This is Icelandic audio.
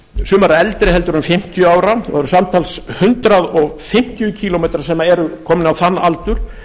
sumar eru eldri heldur en fimmtíu ára og eru samtals hundrað fimmtíu kílómetrar sem eru komnir á þann aldur